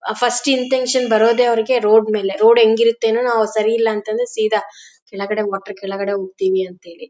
ಆಹ್ಹ್ first irritation ಬರೋದೇ ಅವ್ರಿಗೆ road ಮೇಲೆ ರೋಡ್ ಹೆಂಗಿರುತ್ತೆ ರೋಡ್ ಸರಿ ಇಲ್ಲ ಅಂತ ಅಂದ್ರೆ ಸೀದಾ ಕೆಳಗಡೆ ಮೋಟಾರ್ ಕೆಳಗಡೆ ಹೋಗ್ತಿವಿ ಅಂತೇಳಿ.